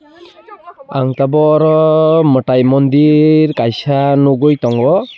ang tabuk oro mwtai mondir kaisa nugui tongo.